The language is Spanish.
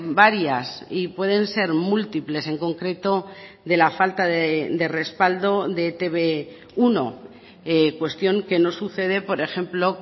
varias y pueden ser múltiples en concreto de la falta de respaldo de e te be uno cuestión que no sucede por ejemplo